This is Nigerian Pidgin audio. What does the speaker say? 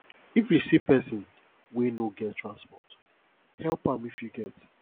if you see person wey no get transport help am if you get